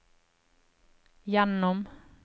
gjennom